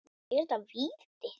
Er þetta víti?